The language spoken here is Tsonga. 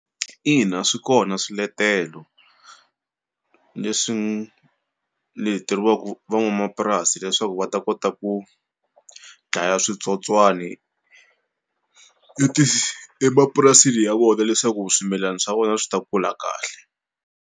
Ina swi kona swiletelo leswi leteriwaku van'wamapurasi leswaku va ta kota ku dlaya switsotswani i ti emapurasini ya vona leswaku swimilana swa vona swi ta kula kahle.